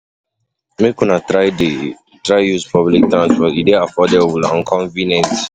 Make una dey try use public transport, e dey affordable and convenient.